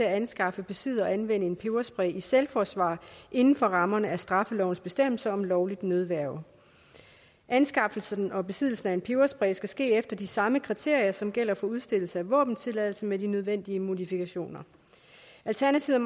at anskaffe besidde og anvende en peberspray i selvforsvar inden for rammerne af straffelovens bestemmelser om lovligt nødværge anskaffelsen og besiddelsen af en peberspray skal ske efter de samme kriterier som gælder for udstedelse af våbentilladelse med de nødvendige modifikationer alternativet